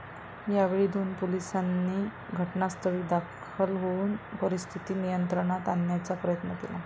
यावेळी दोन पोलिसांनी घटनास्थळी दाखल होऊन परिस्थिती नियंत्रणात आणण्याचा प्रयत्न केला.